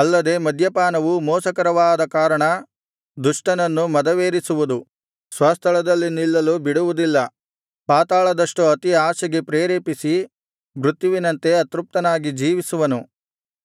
ಅಲ್ಲದೆ ಮದ್ಯಪಾನವು ಮೋಸಕರವಾದ ಕಾರಣ ದುಷ್ಟನನ್ನು ಮದವೇರಿಸುವುದು ಸ್ವಸ್ಥಳದಲ್ಲಿ ನಿಲ್ಲಲು ಬಿಡುವುದಿಲ್ಲ ಪಾತಾಳದಷ್ಟು ಅತಿ ಆಶೆಗೆ ಪ್ರೆರೇಪಿಸಿ ಮೃತ್ಯುವಿನಂತೆ ಅತೃಪ್ತನಾಗಿ ಜೀವಿಸುವನು